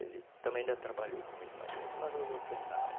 Ele também ainda trabalhou comigo na juta, mas os outros não.